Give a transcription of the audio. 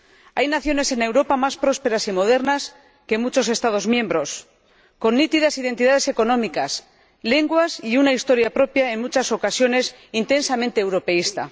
Hay naciones en Europa más prósperas y modernas que muchos Estados miembros, con nítidas identidades económicas, con sus lenguas y una historia propia en muchas ocasiones intensamente europeísta.